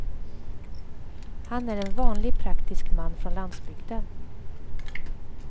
Han är en vanlig praktisk man från landsbygden.